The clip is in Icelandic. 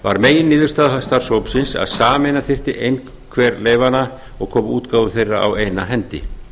var meginniðurstaða starfshópsins að sameina þyrfti einhver leyfanna og koma útgáfu þeirra á eina hendi